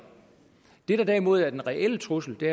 det der derimod er den reelle trussel det